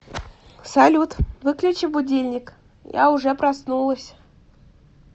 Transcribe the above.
салют выключи будильник я уже проснулась